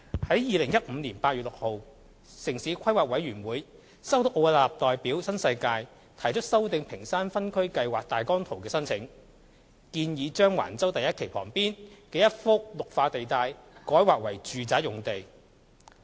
在2015年8月6日，城市規劃委員會收到奧雅納代表新世界提出修訂屏山分區計劃大綱圖的申請，建議將橫洲第1期旁邊的一幅"綠化地帶"改劃為"住宅"用地。